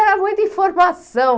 Era muita informação.